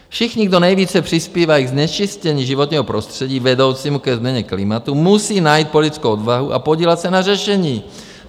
Všichni, kdo nejvíce přispívají ke znečištění životního prostředí vedoucímu ke změně klimatu musí najít politickou odvahu a podílet se na řešení.